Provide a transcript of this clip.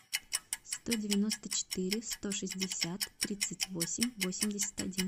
сто девяносто четыре сто шестьдесят тридцать восемь восемьдесят один